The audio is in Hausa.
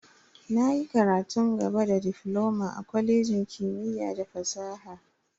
Na yi karatun gaba da difloma a kwalejin kimiyya da fasaha.